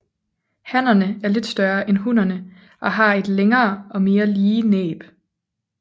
Hannerne er lidt større end hunnerne og har et længere og mere lige næb